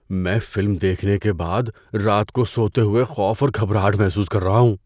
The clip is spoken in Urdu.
میں فلم دیکھنے کے بعد رات کو سوتے ہوئے خوف اور گھبراہٹ محسوس کر رہا ہوں۔